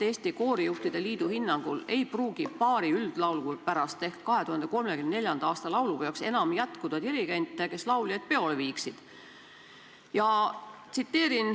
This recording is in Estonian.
Eesti Koorijuhtide Liidu hinnangul ei pruugi pärast paari üldlaulupidu ehk 2034. aasta laulupeoks enam jätkuda dirigente, kes lauljaid peole viiksid.